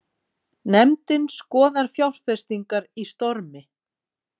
Nefndin skoðar fjárfestingar í Stormi